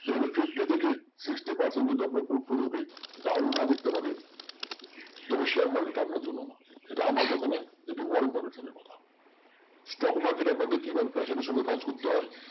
fifty থেকে sixty percent যদি আপনার down না দেখতে পারেন তবে share market আপনার জন্য নয় এটা আমার কথা না। এটি কথা stock market এ কিভাবে passion এর সাথে কাজ করতে হয়